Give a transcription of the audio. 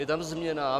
Je tam změna.